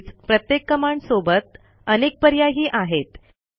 तसेच प्रत्येक कमांडसोबत अनेक पर्यायही आहेत